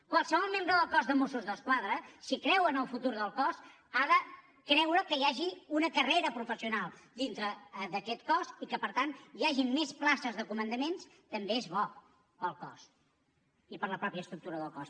qualsevol membre del cos de mossos d’esquadra si creu en el futur del cos ha de creure que hi hagi una carrera professional dintre d’aquest cos i per tant que hi hagin més places de comandaments també és bo per al cos i per a la mateixa estructura del cos